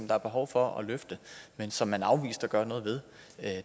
der er behov for at løfte men som man afviste at gøre noget ved